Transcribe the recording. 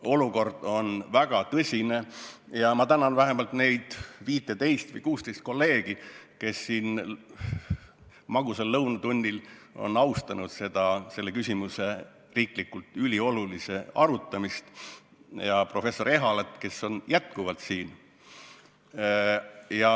Olukord on väga tõsine ja ma tänan vähemalt neid 15 või 16 kolleegi, kes siin magusal lõunatunnil on austanud selle riiklikult üliolulise küsimuse arutamist, ja professor Ehalat, kes on endiselt siin.